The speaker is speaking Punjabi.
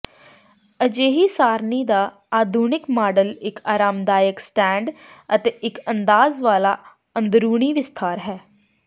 ਅਜਿਹੀ ਸਾਰਨੀ ਦਾ ਆਧੁਨਿਕ ਮਾਡਲ ਇੱਕ ਆਰਾਮਦਾਇਕ ਸਟੈਂਡ ਅਤੇ ਇੱਕ ਅੰਦਾਜ਼ ਵਾਲਾ ਅੰਦਰੂਨੀ ਵਿਸਥਾਰ ਹੈ